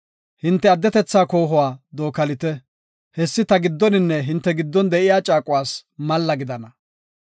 Hinte addetetha koohuwa dookalite; hessi ta giddoninne hinte giddon de7iya caaquwas malla gidana.